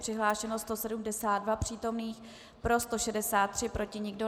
Přihlášeno 172 přítomných, pro 163, proti nikdo.